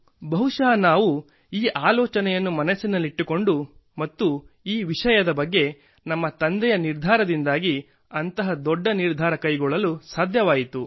ಬಹುಶಃ ನಾವು ಈ ಆಲೋಚನೆಯನ್ನು ಮನಸ್ಸಿನಲ್ಲಿಟ್ಟುಕೊಂಡು ಮತ್ತು ಈ ವಿಷಯದ ಬಗ್ಗೆ ನನ್ನ ತಂದೆಯ ನಿರ್ಧಾರದಿಂದಾಗಿ ಅಂತಹ ದೊಡ್ಡ ನಿರ್ಧಾರ ಕೈಗೊಳ್ಳಲು ಸಾಧ್ಯವಾಯಿತು